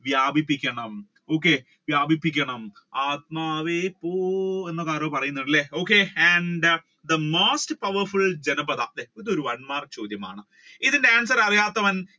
വ്യാപിപ്പിക്കണം okay വ്യാപിപ്പിക്കണം ആത്മാവേ പോ എന്ന് ആരൊക്കെ പറയുന്നുണ്ട് അല്ലെ okay and the most powerful Janapadha ഇത് ഒരു മാർക്ക് ചോദ്യമാണ് ഇതിന്റെ answer അറിയാത്തവർ